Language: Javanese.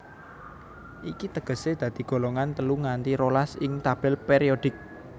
Iki tegesé dadi golongan telu nganti rolas ing tabel périodik